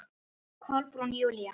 Kolbrún Júlía.